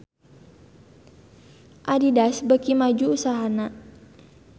Adidas beuki maju usahana